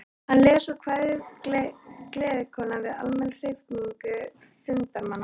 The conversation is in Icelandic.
Hann les svo kvæðið Gleðikonan við almenna hrifningu fundarmanna.